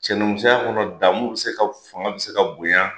Cɛnimusoya kɔnɔ damu bi se ka fanga bi se ka bonya